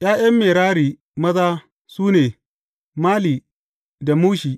’Ya’yan Merari maza, su ne, Mali da Mushi.